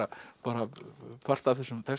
bara part af þessum texta